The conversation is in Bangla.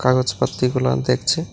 কাগজ পত্তি গুলা দেখছে।